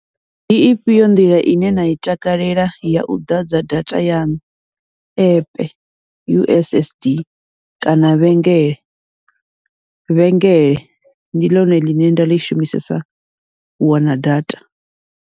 Ndi ifhio nḓila ine na i takalela yau ḓadza data yaṋu, app U_S_S_D kana vhengele, vhengele ndi ḽone ḽine nda ḽi shumisesa u wana data.